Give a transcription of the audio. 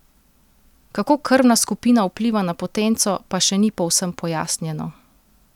Kako krvna skupina vpliva na potenco, pa še ni povsem pojasnjeno.